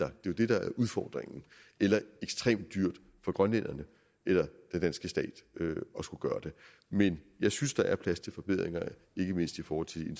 er jo det der er udfordringen eller ekstremt dyrt for grønlænderne eller den danske stat at skulle gøre det men jeg synes der er plads til forbedringer ikke mindst i forhold til de